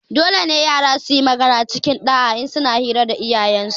Dolene yara suyi magana cikin ɗa'a in suna hira da iyayensu